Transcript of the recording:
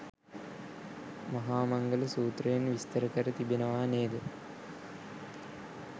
මහා මංගල සූත්‍රයෙන් විස්තර කර තිබෙනවා නේද?